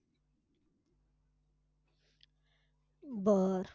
बरं.